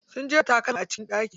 Sun jera takalma a cikin ɗaki.